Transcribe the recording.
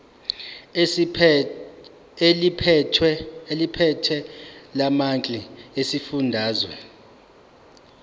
eliphethe lamarcl esifundazwe